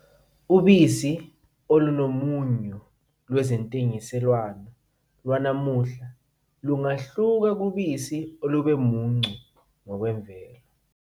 Ubisi olunomunyu lwezentengiselwano lwanamuhla lungahluka kubisi olube muncu ngokwemvelo.